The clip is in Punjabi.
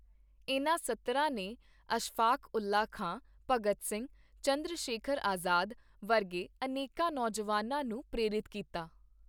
ਇਨ੍ਹਾਂ ਸਤਰਾਂ ਨੇ ਅਸ਼ਫਾਕਉੱਲ੍ਹਾ ਖਾਂ, ਭਗਤ ਸਿੰਘ, ਚੰਦਰਸ਼ੇਖਰ ਆਜ਼ਾਦ ਵਰਗੇ ਅਨੇਕਾਂ ਨੌਜਵਾਨਾਂ ਨੂੰ ਪ੍ਰੇਰਿਤ ਕੀਤਾ।